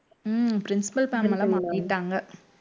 உம் principal ma'am எல்லாம் மாத்திட்டாங்க